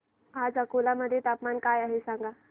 आज अकोला मध्ये तापमान काय आहे सांगा